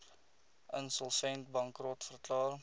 insolvent bankrot verklaar